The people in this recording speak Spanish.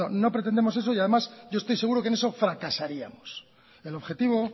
no no pretendemos eso y además yo estoy seguro que en eso fracasaríamos el objetivo